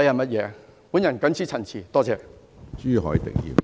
我謹此陳辭，多謝。